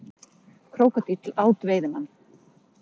Krókódíll át veiðimann